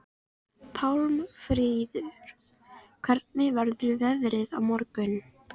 Pálmfríður, hvernig verður veðrið á morgun?